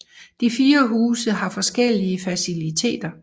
De fire huse har forskellige faciliteter